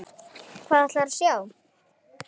Hvað ætlarðu að sjá?